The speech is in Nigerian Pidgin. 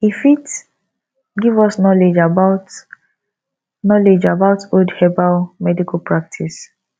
e fit give us knowledge about knowledge about old herbal medical practice